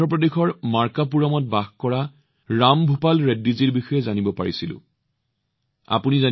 মই অন্ধ্ৰ প্ৰদেশৰ মাৰ্কাপুৰমত বাস কৰা ৰাম ভূপাল ৰেড্ডীজী নামৰ এজন সতীৰ্থৰ বিষয়ে জানিব পাৰিছিলো